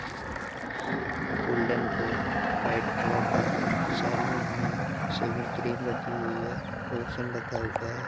Golden white colour का है। Salon है शेविंग क्रीम रखी हुई है लोशन रखा हुआ है।